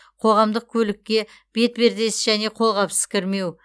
қоғамдық көлікке бетпердесіз және қолғапсыз кірмеу